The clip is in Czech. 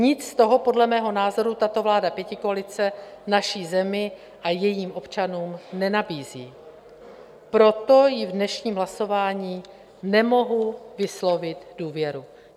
Nic z toho podle mého názoru tato vláda pětikoalice naší zemi a jejím občanům nenabízí, proto jí v dnešním hlasování nemohu vyslovit důvěru.